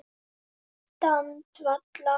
Ástand valla